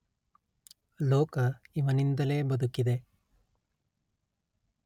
ಲೋಕ ಇವನಿಂದಲೇ ಬದುಕಿದೆ